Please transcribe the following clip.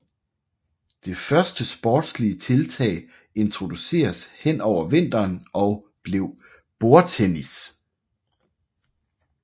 Det første sportslige tiltag introduceredes hen over vinteren og blev bordtennis